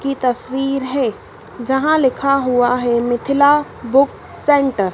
की तस्वीर है जहां लिखा हुआ है मिथिला बुक सेंटर ।